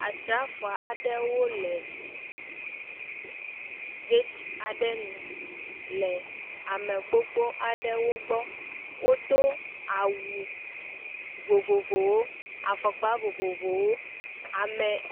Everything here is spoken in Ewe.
Asrafo aɖewo le gati aɖe nu le amegbogbo aɖewo gbɔ wodo awu vovovowo, afɔkpa vovovowo. Ame